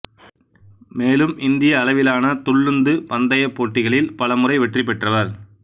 மேலும் இந்தியஅளவிலான துள்ளுந்து பந்தயப்போட்டிகளில் பல முறை வெற்றி பெற்றவர்